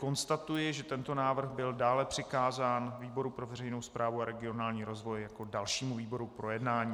Konstatuji, že tento návrh byl dále přikázán výboru pro veřejnou správu a regionální rozvoj jako dalšímu výboru k projednání.